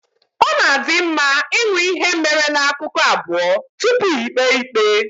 Ọ na adị mma ịṅụ ihe mere na ákụkụ abụọ tupu íkpè ikpe